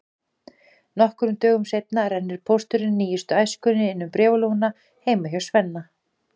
Nokkrum dögum seinna rennir pósturinn nýjustu Æskunni inn um bréfalúguna heima hjá Svenna.